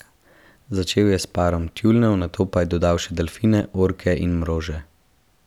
Začel je s parom tjulnjev, nato pa dodal še delfine, orke in mrože.